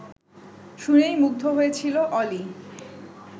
শুনেই মুগ্ধ হয়েছিল অলি